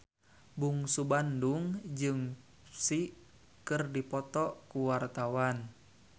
Bungsu Bandung jeung Psy keur dipoto ku wartawan